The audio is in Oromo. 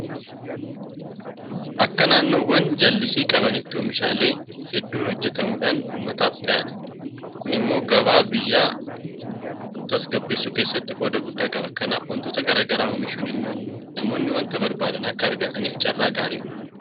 Akka naannoowwan jallisii qabaniitti oomishaalee hedduun hojjetamuudhaan uummataaf dhiyaata. Kun immoo gabaa biyya kanaa tasgabbeessuu keessatti qooda guddaa qaba. Kanaaf waantota garaa garaa oomishuun immoo namoonni waanta barbaadan akka argataniif carraa gaarii uuma.